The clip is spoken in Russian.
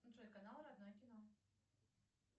джой канал родное кино